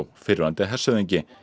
fyrrverandi hershöfðingi